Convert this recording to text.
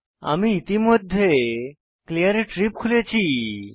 আমি ইতিমধ্যে Cleartrip খুলেছি